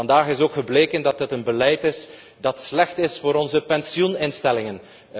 Vandaag is ook gebleken dat het een beleid is dat slecht is voor onze pensioeninstellingen.